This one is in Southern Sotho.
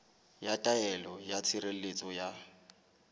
ya taelo ya tshireletso ya